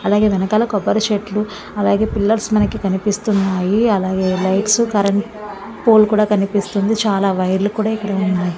అలాగే వెనకాల కొబ్బరి చెట్లు అలాగే పిల్లర్స్ మనకు కనిపిస్తున్నాయి. అలాగే లైట్స్ కరెంట్ పోల్ కూడా కనిపిస్తుంది. చాలా వైర్లు కూడా ఇక్కడ ఉన్నాయి.